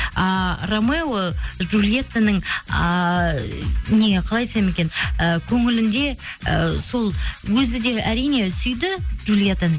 ааа рамео джулиеттаның ыыы не қалай айтсам екен і көңілінде і сол өзі де әрине сүйді джулиеттаны